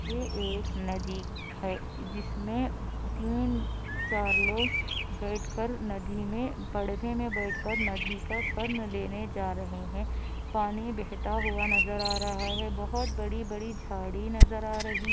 एक नदी है जिसमे तीन आ चार लोग बैठ कर नदी मै बड़वे मै बैठ कर नदी का सवर्ण लेने जा रहे है पानी बेहता हुआ नजर आ रहा है बोहोत बड़ी-बड़ी झाड़ी नजर आ रही है।